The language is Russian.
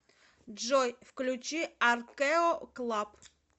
джой включи аркэо клаб